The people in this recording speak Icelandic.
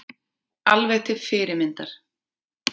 Alveg til fyrirmyndar